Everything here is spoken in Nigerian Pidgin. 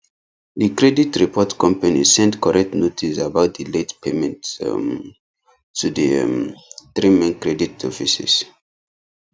the credit report company send correct notice about the late payment um to the um three main credit offices